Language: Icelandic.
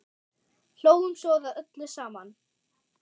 Hlógum svo að öllu saman.